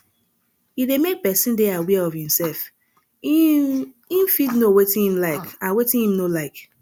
e de make persin de aware of imself im im fit know wetin im like and wetin im no like